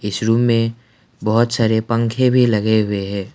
इस रूम में बहुत सारे पंखे भी लगे हुए है।